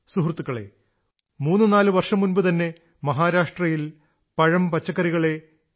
സുഹൃത്തുക്കളേ മൂന്നുനാലു വർഷം മുമ്പുതന്നെ മഹാരാഷ്ട്രയിൽ പഴംപച്ചക്കറികളെ എ